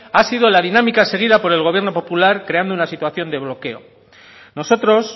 ha sido la dinámica seguida por el gobierno popular creando una situación de bloqueo nosotros